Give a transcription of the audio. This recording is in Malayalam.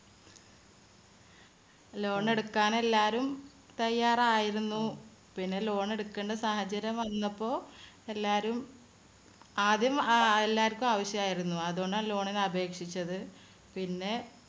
Loan എടുക്കാനെല്ലാരും തയ്യാറായിരുന്നു. പിന്നെ Loan എടുക്കണ്ട സാഹചര്യം വന്നപ്പോ എല്ലാരും ആദ്യം അഹ് എല്ലാർക്കും ആവശ്യമായിരുന്നു. അതുകൊണ്ടാണ് loan ന് അപേക്ഷിച്ചത്. പിന്നെ